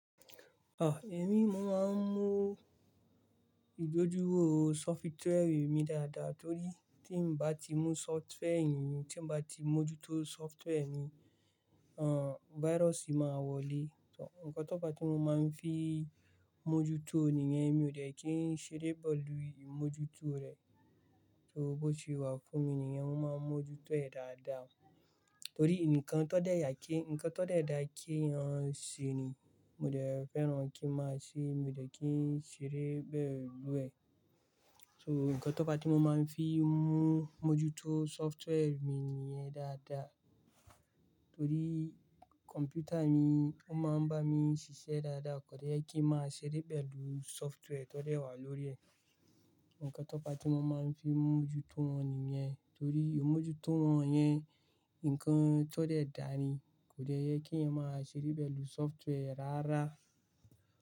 Ah, èmi mo máa ń mú ìgbójú ò software mi dáadáa torí tí ń bá ti mú software yìí, tí ń bá ti mójútó software mi, hun, virus máa wọlé. Ǹkan tó bá ti mo máa ń fi mójútó nìyẹn mi ò dẹ́ kí ń ṣeré pẹ̀lú imójútó rẹ. So bó se wà fún mi nìyẹn, wọ́n máa ń mójútó ẹ̀ dáadáa. Torí nǹkan tó dẹ́ yà kí, ǹkan tó dẹ́ dá kí eyan ṣe ni mo dẹ́ fẹ́ràn kí máa ṣe, mi ò dẹ́ kí ń ṣeré pẹ̀lú ẹ̀. So ǹkan tó bá ti mo máa ń fi mú mójútó software mi nìyẹn dáadáa torí kọ̀mpútà mi ó máa ń bá mi ṣiṣẹ́ dáadáa, kò dẹ́ kí màá ṣeré pẹ̀lú software tó dẹ́ wà lórí ẹ̀. Ǹkan tó bá ti mo máa ń fi mójútó wọn nìyẹn torí ó mójútó wọn yẹn, nǹkan tó dẹ́ dá ni, kò dẹ́ yẹ kí ẹ̀yan máa ṣeré pẹ̀lú software rárá.